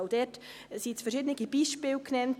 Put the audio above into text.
Dort wurden jetzt verschiedene Beispiele genannt.